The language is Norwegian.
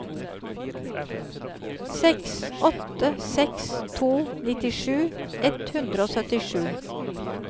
seks åtte seks to nittisju ett hundre og syttisju